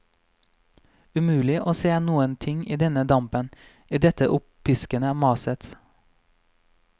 Umulig å se noen ting i denne dampen, i dette oppiskede maset.